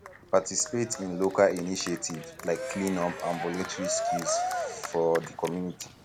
participate in local initiative like cleanup and volunteering skills for di community